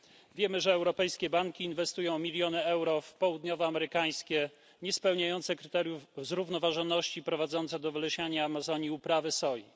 Wiemy, że europejskie banki inwestują miliony euro w południowoamerykańskie niespełniające kryteriów zrównoważoności, prowadzące do wylesiania Amazonii uprawy soi.